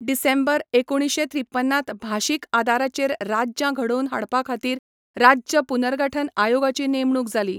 डिसेंबर एकुणशे त्रिपन्नांत भाशीक आदाराचेर राज्यां घडोवपा खातीर राज्य पुनर्गठन आयोगाची नेमणूक जाली.